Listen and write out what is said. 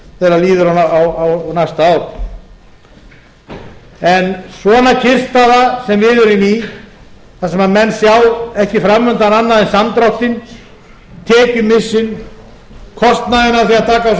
síðar þegar líður á mæta ár en svona kyrrstaða eins á við erum í þar sem eins já ekki fram undan annað en samdráttinn tekjumissinn kostnaðinn af því að taka á sig